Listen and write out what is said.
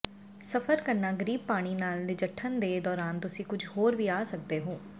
ਸਫ਼ਰ ਕਰਨਾ ਗਰੀਬ ਪਾਣੀ ਨਾਲ ਨਜਿੱਠਣ ਦੇ ਦੌਰਾਨ ਤੁਸੀਂ ਕੁਝ ਹੋਰ ਵੀ ਆ ਸਕਦੇ ਹੋ